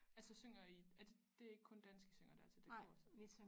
Altså synger I er det det er ikke kun dansk I synger dér til det kor så